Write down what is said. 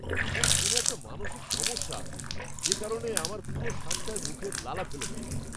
ওর কোনও একটা মানসিক সমস্যা আছে, যে কারণে আমার পুরো শার্টটায় মুখের লালা ফেলেছে!